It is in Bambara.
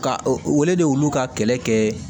Ka wele de olu ka kɛlɛ kɛ